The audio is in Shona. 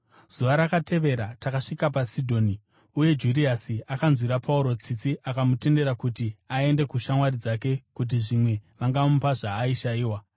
Zuva rakatevera takasvika paSidhoni; uye Juriasi akanzwira Pauro tsitsi akamutendera kuti aende kushamwari dzake kuti zvimwe vangamupa zvaaishayiwa.